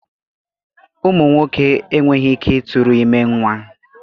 Ụmụ nwoke enweghị ike ịtụrụ ime nwa